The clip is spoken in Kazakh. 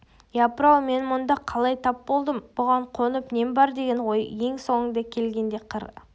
япыр-ау мен мұнда қалай тап болдым бұған қонып нем бар деген ой ең соңынан келгенде қыр